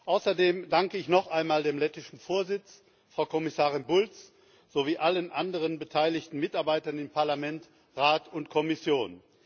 Außerdem danke ich noch einmal dem lettischen Vorsitz, Frau Kommissarin Bulc, sowie allen anderen beteiligten Mitarbeitern in Parlament, Rat und Kommission.